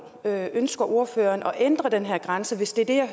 ønsker ordføreren at ændre den her grænse hvis det er